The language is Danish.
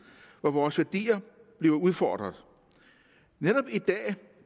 hvor vores værdier bliver udfordret netop i dag